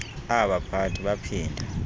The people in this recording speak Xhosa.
aba baphathi baphinda